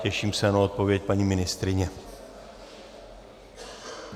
Těším se na odpověď paní ministryně.